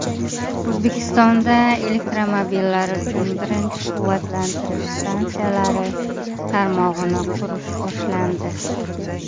O‘zbekistonda elektromobillar uchun birinchi quvvatlantirish stansiyalari tarmog‘ini qurish boshlandi.